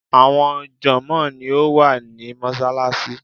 Àwọn jònmóò ni ó wà ní Mósálasí